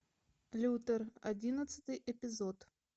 лютер одиннадцатый эпизод